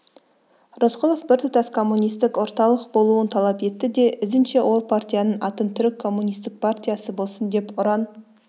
рысқұлов біртұтас коммунистік орталық болуын талап етті де ізінше ол партияның атын түрік коммунистік партиясы болсын деп ұран